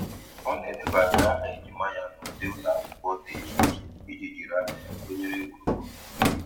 Ọ na-edebanye aha ejima ya n'ụdị ụlọ akwụkwọ dị iche iche iji jiri anya ya tụnyere gburugburu.